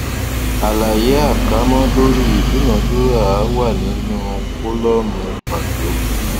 àlàyé àkámọ lórí ìdúnadúràá wà nínú kólọmù pàtó